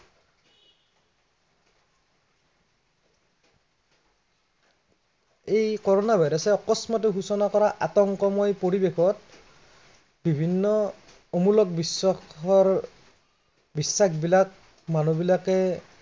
এই corona virus অকস্মাতে সৃষ্টি কৰা আতংকময় পৰিৱেশত, বিভিন্ন অমুলক বিশ্বাসৰ, বিশ্বাসবিলাক মানুহ বিলাকে